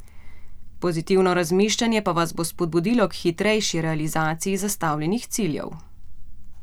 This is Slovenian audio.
Pozitivno razmišljanje pa vas bo spodbudilo k hitrejši realizaciji zastavljenih ciljev.